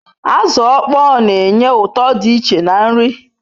Azu okpoo n'enye uto di iche na nri